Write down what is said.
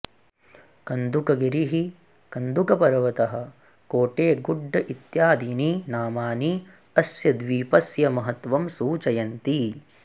कन्दुकगिरिः कन्दुकपर्वतः कोटेगुड्ड् इत्यदीनि नामानि अस्य द्वीपस्य महत्वं सूचयन्ति